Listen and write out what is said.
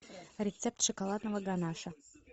рецепт шоколадного ганаша